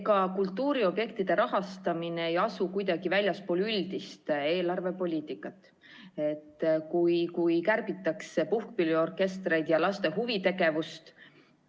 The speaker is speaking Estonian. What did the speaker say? Ega kultuuriobjektide rahastamine ei asu kuidagi väljaspool üldist eelarvepoliitikat, millega kärbitakse puhkpilliorkestritelt ja laste huvitegevuselt.